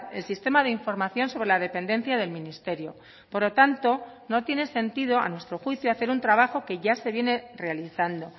el sistema de información sobre la dependencia del ministerio por lo tanto no tiene sentido a nuestro juicio hacer un trabajo que ya se viene realizando